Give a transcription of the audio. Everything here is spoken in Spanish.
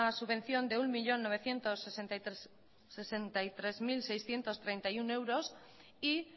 subvención de un millón novecientos sesenta y tres mil seiscientos treinta y uno euros y